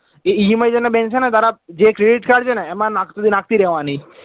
એ EMI તને bank છે ને તારા જે credit card છે ને એમાં નાખતો નાખી દેવાના